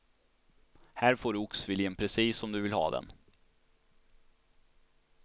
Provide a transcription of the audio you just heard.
Här får du oxfilén precis som du vill ha den.